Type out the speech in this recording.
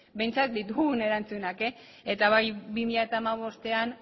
behintzat ditugun erantzunak eta bai bi mila hamabostean